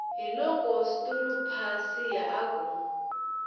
hiloko sturu pasiya a ku